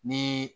Ni